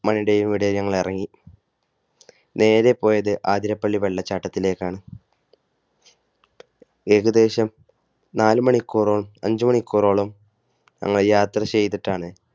മണിയുടെയും ഇടയിൽ ഞങ്ങൾ ഇറങ്ങി. നേരെ പോയത് ആതിരപ്പള്ളി വെള്ളച്ചാട്ടത്തിലേക്കാണ് ഏകദേശം നാല് മണിക്കൂറോളം അഞ്ചുമണിക്കൂറോളം ഞങ്ങൾ യാത്ര ചെയ്തിട്ടാണ്